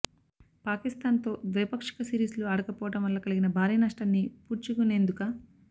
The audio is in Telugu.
పాకిస్థాన్తో ద్వైపాక్షిక సిరీస్లు ఆడకపోవడం వల్ల కలిగిన భారీ నష్టాన్ని పూడ్చుకునేందుక